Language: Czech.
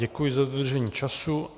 Děkuji za dodržení času.